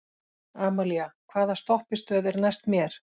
Amalía, hvaða stoppistöð er næst mér?